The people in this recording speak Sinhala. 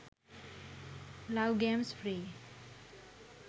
love games free